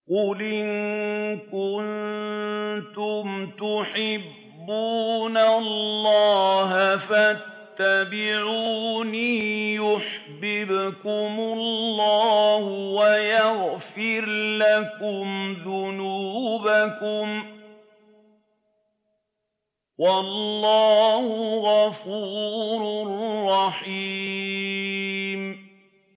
قُلْ إِن كُنتُمْ تُحِبُّونَ اللَّهَ فَاتَّبِعُونِي يُحْبِبْكُمُ اللَّهُ وَيَغْفِرْ لَكُمْ ذُنُوبَكُمْ ۗ وَاللَّهُ غَفُورٌ رَّحِيمٌ